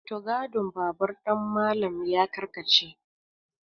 mutugadin babur ɗin Malam ya karkace